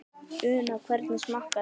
Una, hvernig smakkast?